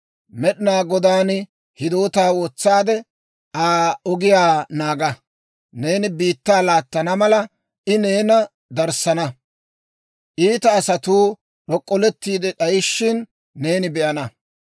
Med'inaa Godaan hidootaa wotsaade, Aa ogiyaa naaga. Neeni biittaa laattana mala, I neena darssana. Iita asatuu d'ok'ollettiide d'ayishina, neeni be'ana.